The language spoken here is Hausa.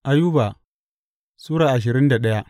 Ayuba Sura ashirin da daya